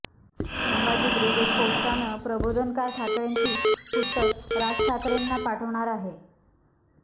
Sambhaji brigade पोस्टानं प्रबोधनकार ठाकरेंची पुस्तकं राज ठाकरेंना पाठवणार आहे